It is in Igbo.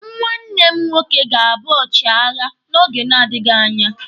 Nwanne m nwoke ga-abụ ọchịagha n'oge na-adịghi anya.